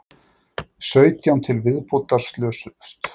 Sautján til viðbótar slösuðust